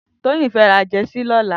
Toyin fè rà jèsí lòlá